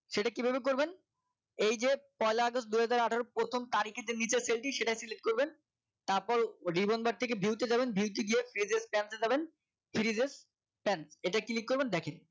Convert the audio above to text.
সেটা কিভাবে করবেন এই যে পয়লা আগস্ট দুই হাজার আঠারো এর প্রথম তারিখে যে neat এর selfie সেটাই select করবেন তারপর remember থেকে view তে যাবেন view তে গিয়ে pages stand এ যাবেন serieses stand এটা click করবেন দেখেন